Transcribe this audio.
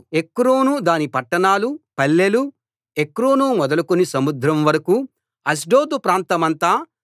ఎక్రోను దాని పట్టణాలు పల్లెలు ఎక్రోను మొదలుకుని సముద్రం వరకూ అష్డోదు ప్రాంతమంతా